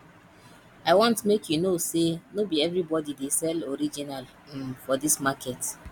i want make you know sey no be everybodi dey sell original um for dis market